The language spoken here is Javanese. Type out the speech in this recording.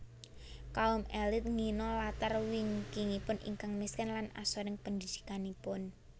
Kaum élit ngina latar wingkingipun ingkang miskin lan asoring pendidikanipun